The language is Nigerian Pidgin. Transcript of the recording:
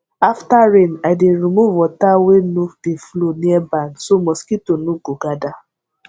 after rain i dey remove water wey nor de flow near barn so mosquito no go gather